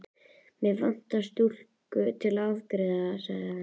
Mig vantar stúlku til að afgreiða sagði hann.